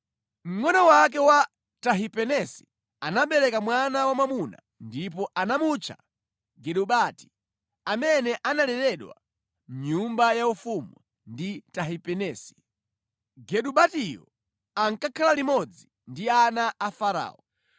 Mngʼono wake wa Tahipenesi anabereka mwana wamwamuna ndipo anamutcha Genubati, amene analeredwa mʼnyumba yaufumu ndi Tahipenesi. Genubatiyo ankakhala limodzi ndi ana a Farao.